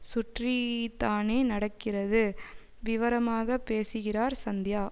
சுற்றிதானே நடக்கிறது விவரமாக பேசுகிறார் சந்தியா